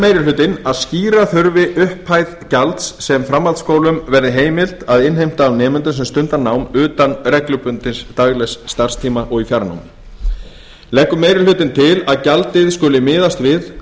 meiri hlutinn að skýra þurfi upphæð gjalds sem framhaldsskólum verði heimilt að innheimta af nemendum sem stunda nám utan reglubundins daglegs starfstíma og í fjarnámi leggur meiri hlutinn til að gjaldið skuli